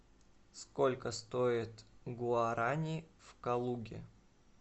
сколько стоит гуарани в калуге